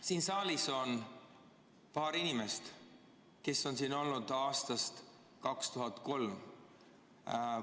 Siin saalis on paar inimest, kes on siin olnud aastast 2003.